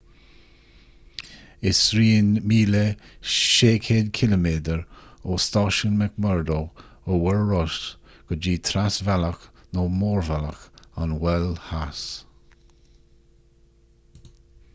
is rian 1600 km ó stáisiún mcmurdo ar mhuir rois go dtí trasbhealach nó mórbhealach an mhoil theas